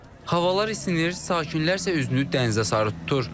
Havalar isinir, sakinlər isə üzünü dənizə sarı tutur.